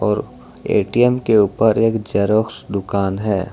और ए_टी_एम के ऊपर एक जेरॉक्स दुकान है।